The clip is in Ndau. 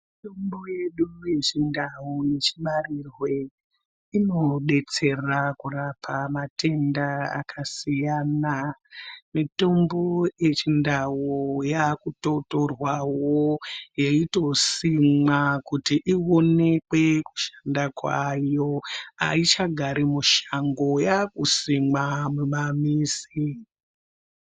Mitombo yedu yechindau yechibarirwe inodetsera kurapa matenda akasiyana mitombo yechindau yakutotorwawo yeitosimwa kuti ionekwe kushanda kwayo aichagari mushango yakusimwa mumamizi.